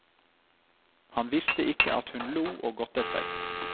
Han visste ikke at hun lo og gottet seg.